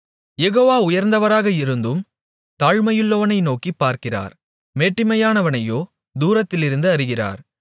யெகோவா உயர்ந்தவராக இருந்தும் தாழ்மையுள்ளவனை நோக்கிப் பார்க்கிறார் மேட்டிமையானவனையோ தூரத்திலிருந்து அறிகிறார்